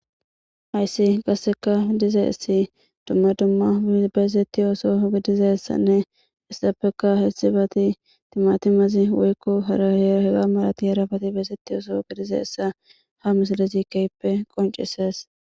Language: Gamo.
hayssi qasseka dize essi dumma dumma beezetti ooso gidizessanne istappeka hessibati timatimazi woykko harahera hega malati yarabati beezetti ooso gidizeessa ha misale zikeyppe qoncisees